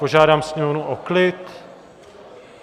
Požádám sněmovnu o klid!